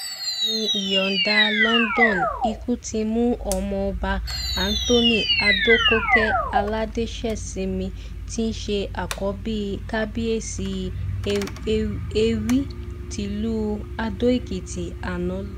fẹ̀mí ìyàǹdà london ikú ti mú ọmọọba anthony adọ́kọ̀kè aládàṣesinmi tí í ṣe àkọ́bí kábíyèsí èwí tìlùú àdó-èkìtì àná lọ